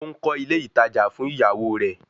Ó ń kọ́ ilé ìtajà fún ìyàwó rẹ̀